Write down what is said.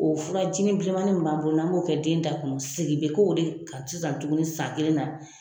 O furajinin bilemanin min b'an bolo n'an b'o kɛ den da kɔnɔ segin bɛ k'o de kan sisan tuguni san kelen na.